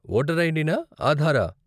Voter ID నా, ఆధారా?